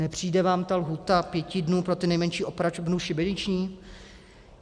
Nepřijde vám ta lhůta pěti dnů pro ty nejmenší opravdu šibeniční?